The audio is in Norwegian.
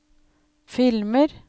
filmer